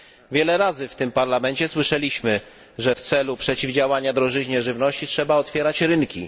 Wiele razy w tym parlamencie słyszeliśmy, że w celu przeciwdziałania drożyźnie żywności trzeba otwierać rynki.